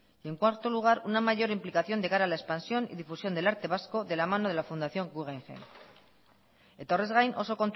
en cuarto lugar una mayor implicación de cara a la expansión y difusión del arte vasco de la mano de la fundación guggenheim eta horrez gain oso